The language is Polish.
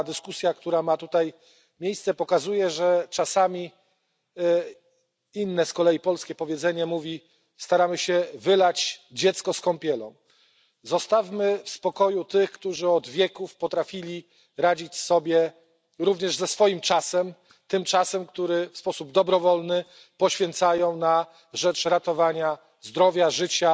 Ta dyskusja, która ma tutaj miejsce, pokazuje, że czasami jak mówi inne z kolei polskie powiedzenie staramy się wylać dziecko z kąpielą. Zostawmy w spokoju tych, którzy od wieków potrafili radzić sobie również ze swoim czasem, tym czasem, który w sposób dobrowolny poświęcają na rzecz ratowania zdrowia, życia,